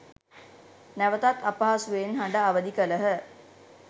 නැවතත් අපහසුවෙන් හඬ අවධි කළහ.